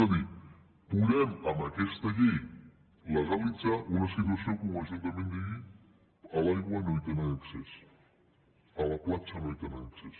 és a dir podem amb aquesta llei legalitzar una situació que un ajuntament digui a l’aigua no hi tenen accés a la platja no hi tenen accés